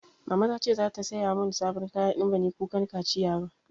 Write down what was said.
Mama ta ce za ta saya mun sabon kaya in banyi kukan kaciya ba